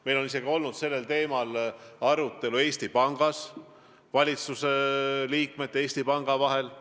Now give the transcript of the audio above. Meil on olnud sellel teemal arutelu praeguse valitsuse liikmete ja Eesti Panga vahel.